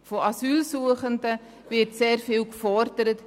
Von Asylsuchenden wird sehr viel gefordert.